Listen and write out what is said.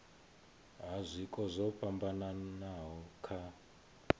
ha zwiko zwo fhambanaho kha